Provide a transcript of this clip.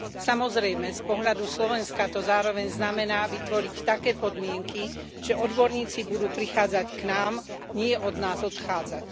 Samozrejme, z pohľadu Slovenska to zároveň znamená vytvoriť také podmienky, že odborníci budú prichádzať k nám, nie od nás odchádzať.